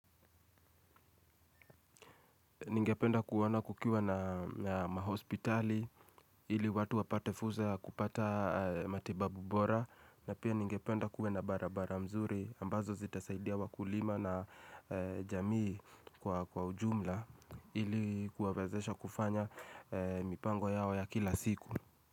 Ningependa kuwona kukiwa na mahospitali, ili watu wapate fuza kupata matibabu bora, na pia ningependa kuwe na barabara mzuri, ambazo zitasaidia wakulima na jamii kwa ujumla, ili kuwawezesha kufanya mipango yao ya kila siku.